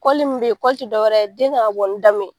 mun be yen, ti dɔwɛrɛ ye den kan ka bɔ ni da mun ye.